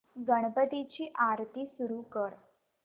गणपती ची आरती सुरू कर